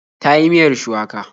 Ta yi miyar shuwaka.